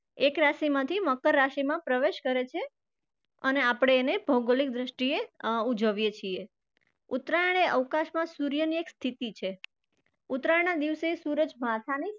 એક રાશિમાંથી મકર રાશિમાં પ્રવેશ કરે છે અને આપણે એને ભૌગોલિક દ્રષ્ટીએ અર ઉજવીએ છીએ. ઉત્તરાયણ એ અવકાશમાં સુર્યની એક સ્થિતિ છે. ઉત્તરાયણના દિવસે સૂરજ માથાની